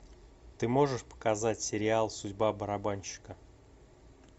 ты можешь показать сериал судьба барабанщика